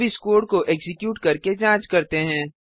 अब इस कोड को एक्जीक्यूट करके जाँच करते हैं